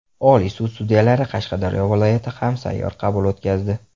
Oliy sud sudyalari Qashqadaryo viloyati ham sayyor qabul o‘tkazdi.